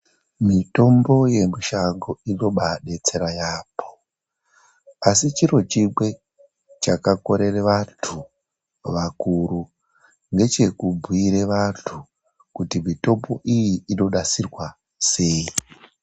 Mitombo yemishango inobadetsera yambo. Asi chiro chimwe chakakorera vantu vakuru ndechekubhuire vantu kuti mitombo iyi inonasirwa sei .